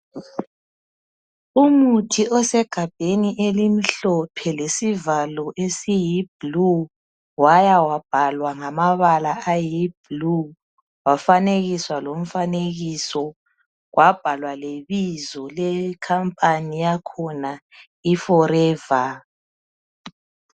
Umuthi osegabheni elimhlophe lesivalo esiyi blue waya wabhalwa ngamabala ayiblue wafanekiswa lomfanekiso wabhalwa lebizo ye company yakhona iforever.